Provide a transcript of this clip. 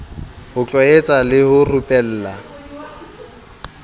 ho tlwaetsa le ho rupela